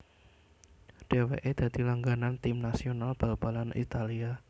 Dèwèké dadi langganan Tim nasional balbalan Italia